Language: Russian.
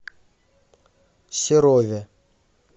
серове